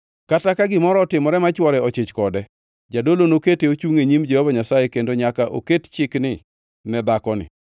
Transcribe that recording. kata ka gimoro otimore ma chwore ochich kode. Jadolo nokete ochungʼ e nyim Jehova Nyasaye kendo nyaka oket chikni ne dhakoni.